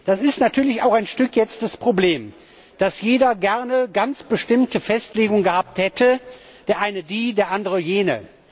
Das ist natürlich jetzt auch ein Stück das Problem, dass jeder gerne ganz bestimmte Festlegungen gehabt hätte der eine die, der andere jene.